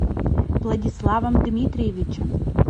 владиславом дмитриевичем